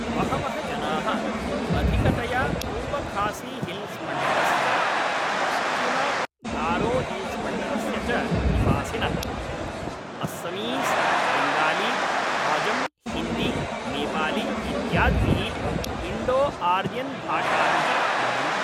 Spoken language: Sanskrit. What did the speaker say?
बहवः जनाः, अधिकतया पूर्वखासीहिल्स् मण्डलस्य, पश्चिमगारोहिल्स्मण्डलस्य च निवासिनः, अस्समीस्, बेङ्गाली, हाजं, हिन्दी, नेपाली इत्यादिभिः इन्डोआर्यन्भाषाभिः वदन्ति।